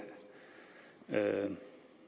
været